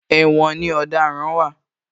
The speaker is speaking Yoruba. Ẹ̀wòn ni àwọn ọ̀daràn wà